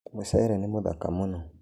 Mũchere nĩmũthaka mũno.